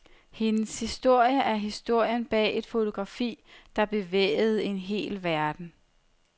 Hendes historie er historien bag et fotografi, der bevægede en hel verden.